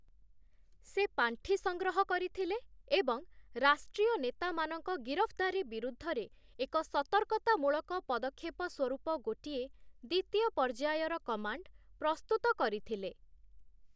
ସେ ପାଣ୍ଠି ସଂଗ୍ରହ କରିଥିଲେ ଏବଂ ରାଷ୍ଟ୍ରୀୟ ନେତାମାନଙ୍କ ଗିରଫଦାରୀ ବିରୁଦ୍ଧରେ ଏକ ସତର୍କତାମୂଳକ ପଦକ୍ଷେପ ସ୍ୱରୂପ ଗୋଟିଏ, ଦ୍ୱିତୀୟ ପର୍ଯ୍ୟାୟର କମାଣ୍ଡ ପ୍ରସ୍ତୁତ କରିଥିଲେ ।